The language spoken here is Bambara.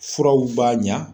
Furaw b'a ɲa